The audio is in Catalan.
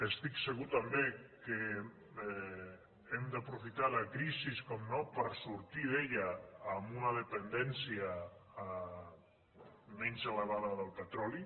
estic segur també que hem d’aprofitar la crisi com no per sortir ne amb una dependència menys elevada del petroli